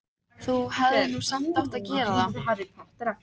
Þú hefðir nú samt átt að gera það.